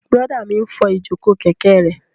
Bùrọ̀dá mi n fọ ìjòkó kẹ̀kẹ́ rẹ̀